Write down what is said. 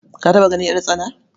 Ka taɓa ganin ƴartsana?